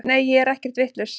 Nei ég er ekkert vitlaus.